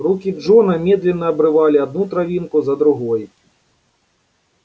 руки джона медленно обрывали одну травинку за другой